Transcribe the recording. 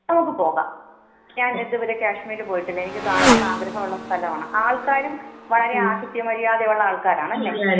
നമുക്ക് പോകാം. ഞാൻ ഇത് വരെ കാശ്മീർ പോയിട്ടില്ല. എനിക്ക് കാണണം എന്ന് ആഗ്രഹമുള്ള സ്ഥലം ആണ്. ആൾകാരും വളരെ ആഥിത്യ മര്യാദയുള്ള ആൾകാർ ആണല്ലെ.